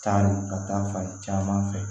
Taa ni ka taa fan caman fɛ